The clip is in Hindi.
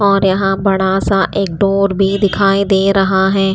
और यहाँ बड़ा सा एक डोर भी दिखाई दे रहा है।